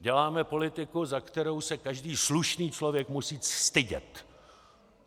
Děláme politiku, za kterou se každý slušný člověk musí stydět.